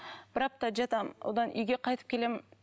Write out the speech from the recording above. бір апта жатамын одан үйге қайтып келемін